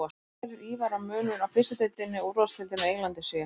Hver telur Ívar að munurinn á fyrstu deildinni og úrvalsdeildinni á Englandi sé?